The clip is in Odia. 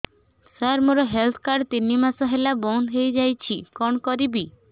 ସାର ମୋର ହେଲ୍ଥ କାର୍ଡ ତିନି ମାସ ହେଲା ବନ୍ଦ ହେଇଯାଇଛି କଣ କରିବି